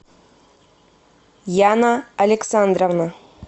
яна александровна